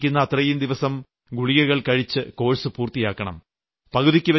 doctor നിർദ്ദേശിക്കുന്ന അത്രയുംദിവസം ഗുളികകൾ കഴിച്ച് കോഴ്സ് പൂർത്തിയാക്കണം